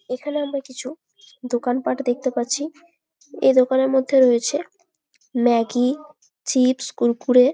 এইখানে আমরা কিছু দোকানপাট দেখতে পাচ্ছি এই দোকানের মধ্যে রয়েছে ম্যাগি চিপস কুড়কুড়ে ।